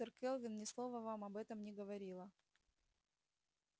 доктор кэлвин ни слова вам об этом не говорила